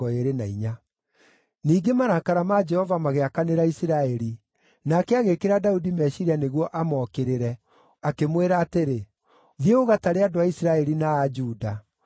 Ningĩ marakara ma Jehova magĩakanĩra Isiraeli, nake agĩĩkĩra Daudi meciiria nĩguo amokĩrĩre, akĩmwĩra atĩrĩ, “Thiĩ ũgatare andũ a Isiraeli na a Juda.”